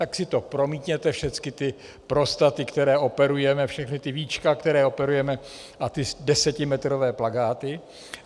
Tak si to promítněte, všechny ty prostaty, které operujeme, všechna ta víčka, která operujeme, a ty desetimetrové plakáty.